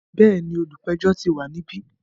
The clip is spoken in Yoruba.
Bẹ́ẹ̀ni, olùpẹ̀jọ́ ti wà níbí.